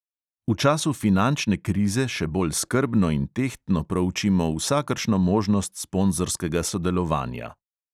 V času finančne krize še bolj skrbno in tehtno proučimo vsakršno možnost sponzorskega sodelovanja.